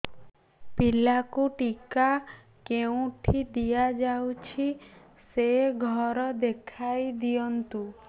ପିଲାକୁ ଟିକା କେଉଁଠି ଦିଆଯାଉଛି ସେ ଘର ଦେଖାଇ ଦିଅନ୍ତୁ